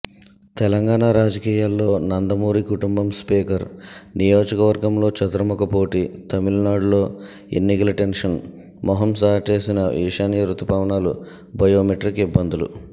తెలంగాణ రాజకీయాల్లో నందమూరి కుటుంబంస్పీకర్ నియోజకవర్గంలో చతుర్ముఖ పోటీతమిళనాడులో ఎన్నికల టెన్షన్ మొహం చాటేసిన ఈశాన్య రుతుపవనాలుబయోమెట్రిక్ ఇబ్బందులు